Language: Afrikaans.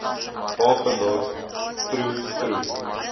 papendorp troe troe